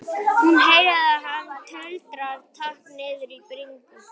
Hún heyrir að hann tuldrar takk niður í bringuna.